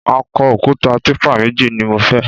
Akọ òkúta típà méjì ni mo fẹ́